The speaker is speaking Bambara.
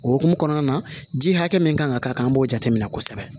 O hokumu kɔnɔna na ji hakɛ min kan ka k'a kan an b'o jate minɛ kosɛbɛ